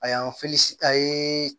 A y'an a ye